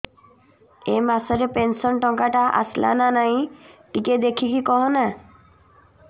ଏ ମାସ ରେ ପେନସନ ଟଙ୍କା ଟା ଆସଲା ନା ନାଇଁ ଟିକେ ଦେଖିକି କହନା